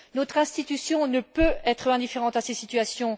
Notre institution ne peut être indifférente à ces situations.